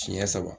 Siɲɛ saba